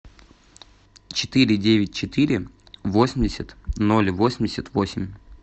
четыре девять четыре восемьдесят ноль восемьдесят восемь